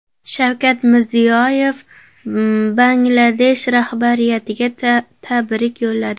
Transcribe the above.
Shavkat Mirziyoyev Bangladesh rahbariyatiga tabrik yo‘lladi.